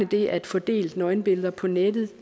det at få delt nøgenbilleder på nettet er